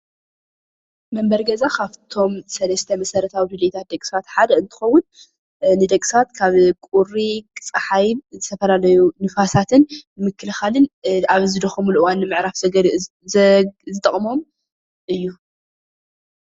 መንበሪ ገዛ ካፍቶም ሰለስተ መሰረታዊ ድሌታት ደቂ ሰባተ ሓደ እንትከዉን ንደቂ ሰባት ካብ ቁሪ ፀሓይ ዝተፋላለዩ ንፋሳትን ምክልካልን ኣብ ዝደከሙሉ ምዕራፍን ዝጠቅሞም እዩ::